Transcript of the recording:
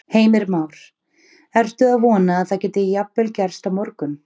Heimir Már: Ertu að vona að það geti jafnvel gerst á morgun?